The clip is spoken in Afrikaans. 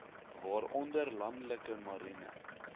waaronder landelike marine